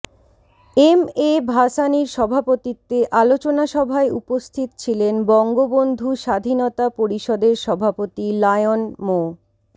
M A ভাসানীর সভাপতিত্বে আলোচনাসভায় উপস্থিত ছিলেন বঙ্গবন্ধু স্বাধীনতা পরিষদের সভাপতি লায়ন মো